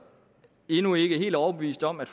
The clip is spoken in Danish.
endnu ikke helt overbeviste om at